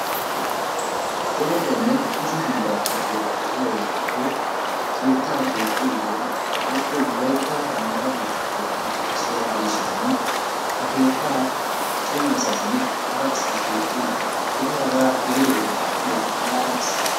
Daro qoommo kushshe hiillatu woogay de'iyaagetuppe keettaa keexxiyoogee woykko wollaytta maata keettaa keexxiyoogee issuwaa gidishiin ha keettaa cima asaynne hara asay keexxiyoode eti hagaa eridoogee qoppiyoode malaales.